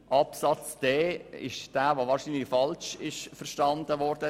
Zu Buchstabe d: Dieser ist wahrscheinlich falsch verstanden worden.